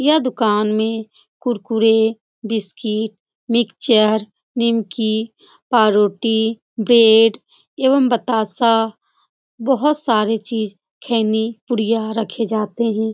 यह दुकान में कुरकुरे बिस्कीट मिक्सचर निमकि पारोटी ब्रेड एवं बतासा बहोत सारी चीज खैनी पुड़िया रखे जाते हैं।